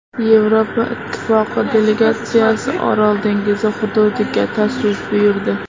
Yevropa Ittifoqi delegatsiyasi Orol dengizi hududiga tashrif buyurdi.